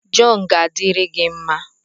Jọn ga-adịrị gị mma